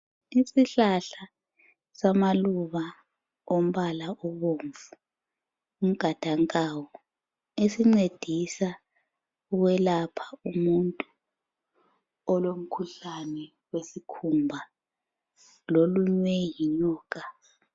Isihlahla samaluba ombala obomvu umgadankawu esincedisa ukwelapha umuntu olomkhuhlane wesikhumba lolunywe yinyoka.